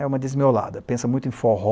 É uma desmiolada, pensa muito em forró,